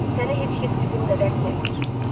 Səni heç kəs bizim qədər sevmir.